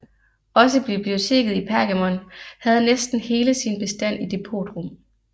Også biblioteket i Pergamon havde næsten hele sin bestand i depotrum